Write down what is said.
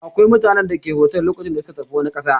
Akwai mutanen da suke sauka a otel lokacin da suka tafi wani ƙasa.